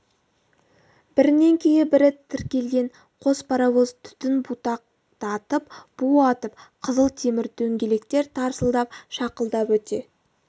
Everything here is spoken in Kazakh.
бірінен кейін бірі тіркелген қос паровоз түтін будақтатып бу атып қызыл темір дөңгелектер тарсылдап шақылдап өте